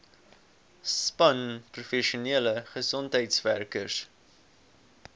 span professionele gesondheidswerkers